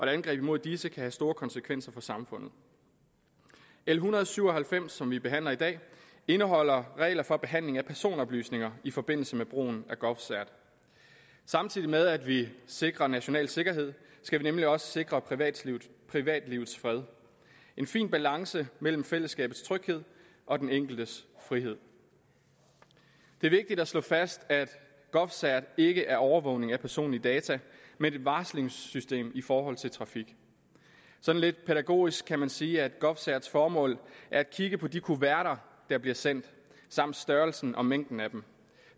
angreb imod disse kan have store konsekvenser for samfundet l en hundrede og syv og halvfems som vi behandler i dag indeholder regler for behandling af personoplysninger i forbindelse med brugen af govcert samtidig med at vi sikrer national sikkerhed skal vi nemlig også sikre privatlivets privatlivets fred en fin balance mellem fællesskabets tryghed og den enkeltes frihed det er vigtigt at slå fast at govcert ikke er overvågning af personlige data men et varslingssystem i forhold til trafik sådan lidt pædagogisk kan man sige at govcert’s formål er at kigge på de kuverter der bliver sendt samt størrelsen og mængden af dem